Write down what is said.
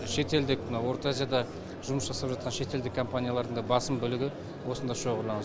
шетелдік мына орта азияда жұмыс жасап жатқан шетелдік компаниялардың да басым бөлігі осында шоғырланады